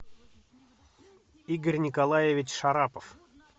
игорь николаевич шарапов